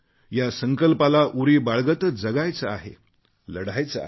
या संकल्पाला उरी बाळगतच जगायचे आहे लढायचे आहे